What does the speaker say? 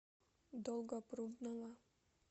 долгопрудного